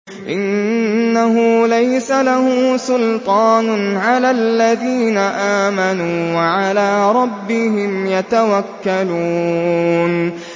إِنَّهُ لَيْسَ لَهُ سُلْطَانٌ عَلَى الَّذِينَ آمَنُوا وَعَلَىٰ رَبِّهِمْ يَتَوَكَّلُونَ